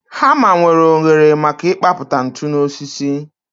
Hama nwere oghere maka ịkpapụta ntu n'osisi